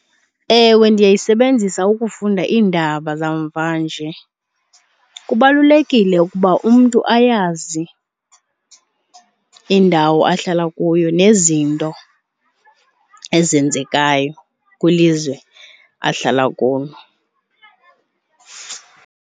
Ewe, ndiyayisebenzisa ukufunda iindaba zamvanje. Kubalulekile ukuba umntu ayazi indawo ahlala kuyo nezinto ezenzekayo kwilizwe ahlala kulo.